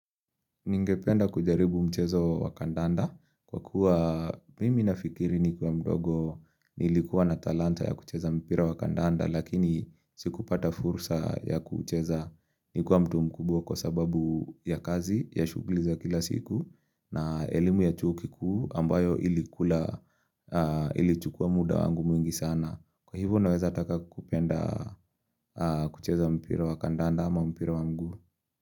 Ningependa kujaribu mchezo wa kandanda kwa kuwa mimi nafikiri nikiwa mdogo nilikuwa na talanta ya kucheza mpira wa kandanda lakini sikupata fursa ya kucheza nikiwa mtu mkubwa kwa sababu ya kazi ya shughuli za kila siku na elimu ya chuo kikuu ambayo ilikula ilichukua muda wangu mwingi sana. Kwa hivo naweza taka kupenda kucheza mpira wa kandanda ama mpira wa mguu.